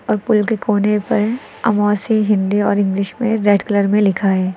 और पुल के कोने पर अमौसी हिंदी और इंग्लिश में रेड कलर में लिखा है।